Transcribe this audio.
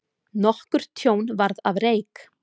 Nokkurt tjón varð af reyk.